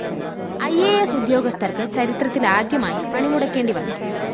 E A S ഉദ്യോഗസ്ഥര്‍ക്ക് ചരിത്രത്തിലാദ്യമായി പണിമുടക്കേണ്ടിവന്നു